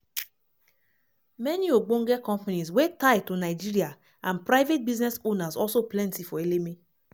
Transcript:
many ogbonge companies wey tie to nigeria and private business owners also plenty for eleme.